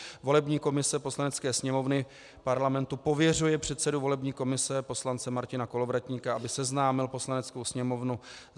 Volební komise Poslanecké sněmovny Parlamentu pověřuje předsedu volební komise poslance Martina Kolovratníka, aby seznámil Poslaneckou sněmovnu